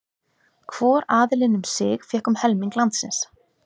Hvor aðilinn um sig fékk um helming landsins.